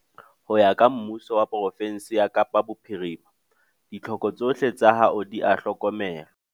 Ho ya ka Mmuso wa pro-fensi ya Kapa Bophirima, ditlhoko tsohle tsa hao di a hlokomelwa.